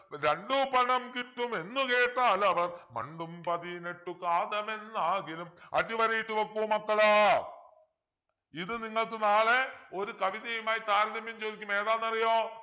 രണ്ടു പണം കിട്ടുമെന്നു കേട്ടാലവർ മണ്ടും പതിനെട്ടു കാതമെന്നാകിലും അടിവരയിട്ടു വെക്കു മക്കളെ ഇത് നിങ്ങൾക്ക് നാളെ ഒരു കവിതയുമായി താരതമ്യം ചോദിക്കും ഏതാന്നറിയോ